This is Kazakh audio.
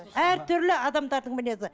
әртүрлі адамдардың мінезі